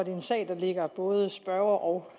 en sag der ligger både spørger og